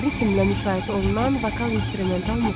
Ritmle müşayiət olunan vokal instrumental muğam.